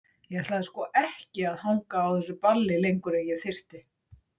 Ég ætlaði sko ekki að hanga á þessu balli lengur en ég þyrfti.